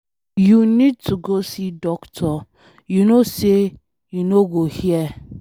You need to go see doctor, you no say you no go hear.